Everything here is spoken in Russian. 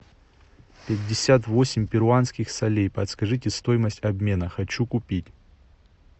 пятьдесят восемь перуанских солей подскажите стоимость обмена хочу купить